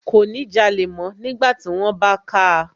Kò ní jalè mọ́ nígbàtí wón bá káa